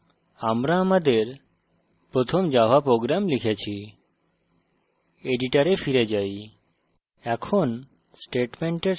সুতরাং আমরা আমাদের প্রথম java program লিখেছি editor we ফিরে যাই